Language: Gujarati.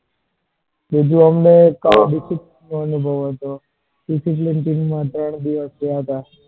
બીજું અમને discipline નો અનુભવ discipline team માં ત્રણ દિવસ ગયા હતા.